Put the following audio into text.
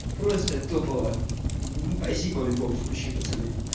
просто топовая спасибо в любом случае пацан